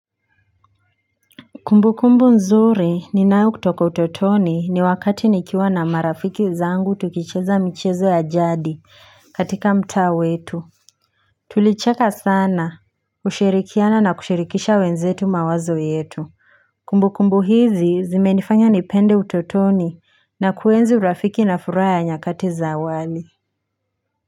Kumbu kumbu nzuri ninao kutoka utotoni ni wakati nikiwa na marafiki zangu tukicheza michezo ya jadi katika mtaa wetu tulicheka sana kushirikiana na kushirikisha wenzetu mawazo yetu kumbu kumbu hizi zime nifanya nipende utotoni na kuenzi urafiki na furaha ya nyakati za awali.